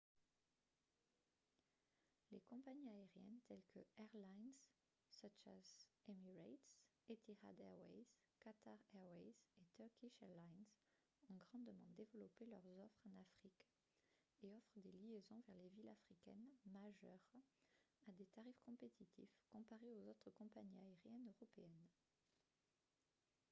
les compagnies aériennes telles que airlines such as emirates etihad airways qatar airways et turkish airlines ont grandement développé leur offres en afrique et offrent des liaisons vers les villes africaines majeures à des tarifs compétitifs comparés aux autres compagnies aériennes européennes